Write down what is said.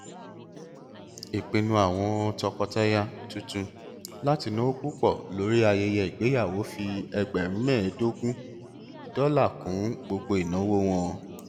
ìpinnu àwọn tọkọtaya tuntun láti náwó púpọ lórí ayẹyẹ ìgbéyàwó fi ẹgbẹrún mẹẹdọgún dọlà kún gbogbo ìnáwó wọn